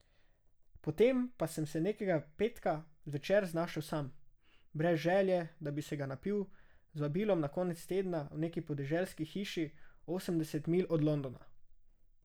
Potem pa sem se nekega petka zvečer znašel sam, brez želje, da bi se ga napil, z vabilom na konec tedna v neki podeželski hiši osemdeset milj od Londona.